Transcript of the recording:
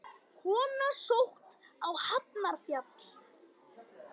Kona sótt á Hafnarfjall